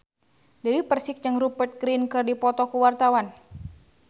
Dewi Persik jeung Rupert Grin keur dipoto ku wartawan